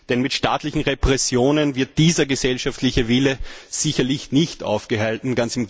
Denn mit staatlichen Repressionen wird dieser gesellschaftliche Wille sicherlich nicht aufgehalten.